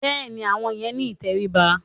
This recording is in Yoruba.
Bẹ́ẹ̀ni, àwọn yẹn ni ìtẹríba.